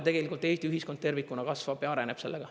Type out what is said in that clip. Tegelikult Eesti ühiskond tervikuna kasvab ja areneb sellega.